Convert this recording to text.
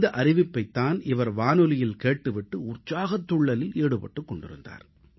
இந்த அறிவிப்பைத் தான் இவர் வானொலியில் கேட்டு விட்டு உற்சாகத் துள்ளலில் ஈடுபட்டுக் கொண்டிருந்தார்